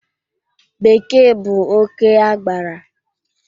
Bekee bụ oké agbara